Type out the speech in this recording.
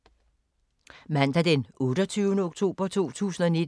Mandag d. 28. oktober 2019